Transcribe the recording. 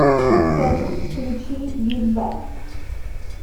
салют включи бит бэк